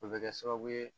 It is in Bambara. O bɛ kɛ sababu ye